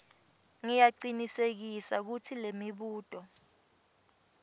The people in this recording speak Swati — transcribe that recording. ngiyacinisekisa kutsi lemibuto